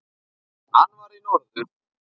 Hann var í norður.